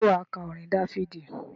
Ṣé wà á ka orin Dáfídì?